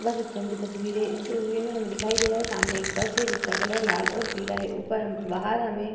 बस स्टैंड की तस्वीर है। इस तस्वीर में हमें दिखाई दे रहा है सामने एक बस है जिसका कलर लाल और पीला है। ऊपर हम बाहर हमें --